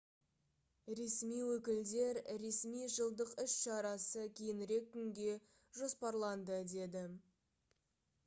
ресми өкілдер ресми жылдық іс-шарасы кейінірек күнге жоспарланды деді